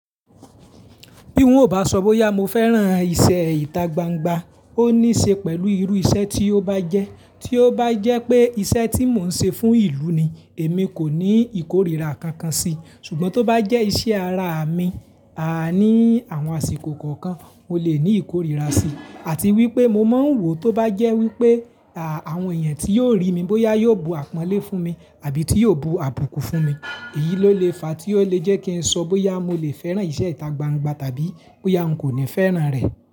Bí wọn ò bá ṣọ boya mo fẹ́ran iṣẹ́ ìta gbangba, ó ní í ṣe pẹ̀lú irú iṣẹ́ tí ó bá jẹ́. Tí ó bá jẹ́ pé iṣẹ́ tí mò ń ṣe fún ìlú ni, èmi kò ní ìkórìíra kankan sí, ṣùgbọ́n tó bá jẹ́ iṣẹ́ ara mi, àní àwọn àsìkò kọ̀ọ̀kan, mo lè ní ìkórìíra sí, àti wípé mo máa ń wò tó bá jẹ́ wípé àwọn èèyàn tí yóò rí mi bóyá yóò bu àpọ́nlé fún mi àbí tí yóò bu àbùkù fún mi. Èyí ló lè fa tí ó lè jẹ́ kí n sọ bóyá mo lè fẹ́ran iṣẹ́ ìta gbangba tàbí bóyá n kò ní fẹ́ran rẹ̀